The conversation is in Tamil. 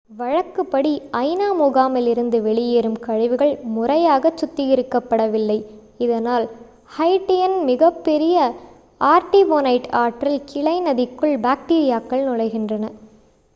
வழக்குப்படி ஐ.நா. முகாமில் இருந்து வெளியேறும் கழிவுகள் முறையாகச் சுத்திகரிக்கப்படவில்லை இதனால் ஹைட்டியின் மிகப்பெரிய ஆர்டிபோனைட் ஆற்றின் கிளை நதிக்குள் பாக்டீரியாக்கள் நுழைகின்றன